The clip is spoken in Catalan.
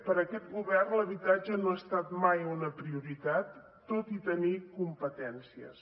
per aquest govern l’habitatge no ha estat mai una prioritat tot i tenir competències